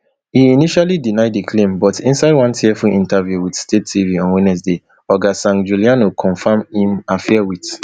e initially deny di claim but inside one tearful interview wit state tv on wednesday oga sangiuliano confam im affair wit